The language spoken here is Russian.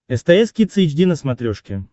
стс кидс эйч ди на смотрешке